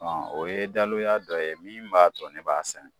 Ɔn , o ye dalu ya dɔ ye min b'a to ne b'a sɛnɛ.